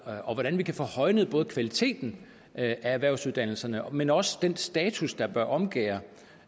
og hvordan vi kan få højnet både kvaliteten af erhvervsuddannelserne men også den status der bør omgærde